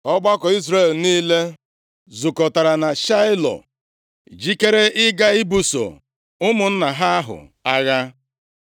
ọgbakọ Izrel niile zukọtara na Shaịlo, jikere ịga ibuso ụmụnna ha ahụ agha.